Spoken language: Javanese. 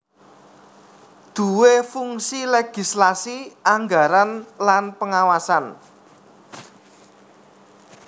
duwé fungsi legislasi anggaran lan pengawasan